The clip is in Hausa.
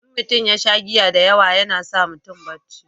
in mutum ya sha giya da yawa yana sa mutum barci